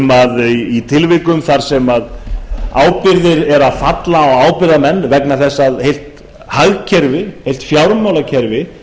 að í tilvikum þar sem ábyrgðir eru að falla á ábyrgðarmenn vegna þess að heilt hagkerfi heilt fjármálakerfi